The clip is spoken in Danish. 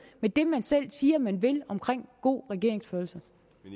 med det man selv siger man vil omkring god regeringsførelse